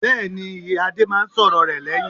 Bẹ́ẹ̀ni, ìyá Adé máa ń sọ̀rọ̀ rẹ lẹ́yìn.